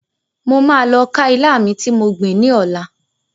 Mo ma lọ ká ilá mi ti mo gbìn ni ọlá.